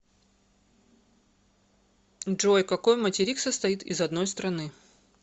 джой какой материк состоит из одной страны